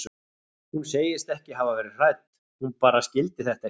Hún segist ekki hafa verið hrædd, hún bara skildi þetta ekki.